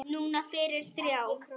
Núna fyrir þrjá.